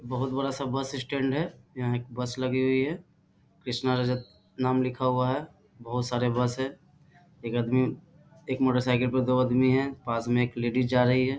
बहुत बड़ा सा बस स्टैंड है यहाँ एक बस लगी हुई है कृषणा रजत नाम लिखा हुआ है बहुत सारे बस हैं एक आदमी एक मोटर साइकिल पे दो आदमी है पास में एक लेडीज जा रही है।